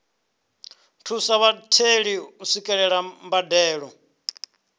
thusa vhatheli u swikelela mbadelo